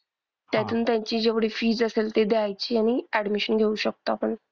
त्यातून त्यांची जेवढी fees असेल ते द्यायची आणि admission घेऊ शकतो आपण.